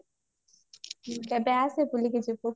କେବେ ଆସେ ବୁଲିକି ଯିବୁ